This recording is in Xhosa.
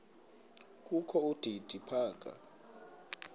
kokho udidi phaka